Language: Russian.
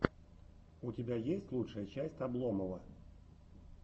у тебя есть лучшая часть обломова